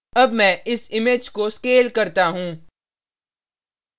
अब मैं इस image को scale करता हूँ